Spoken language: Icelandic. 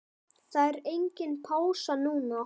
Það er engin pása núna.